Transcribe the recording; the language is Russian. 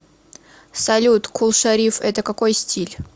салют кул шариф это какой стиль